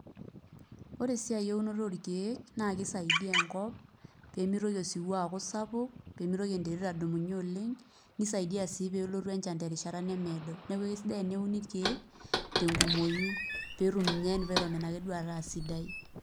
Ore esiai eunoto orkeek naake isaidia enkop pee mitoki osiwuo aaku sapuk pee mitoki enterit adumunye oleng', nisaidia sii pee elotu enchan terishata nemeedo. Neeku ake sidai teneuni irkeek tenkumoyu pee etum ninye environment ake duo ataa sidai.